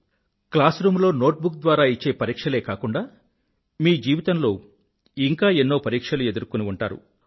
class room లో note book ద్వారా ఇచ్చే పరీక్షలే కాకుండా మీ జీవితంలో ఇంకా ఎన్నో పరీక్షలు ఎదుర్కొని ఉంటారు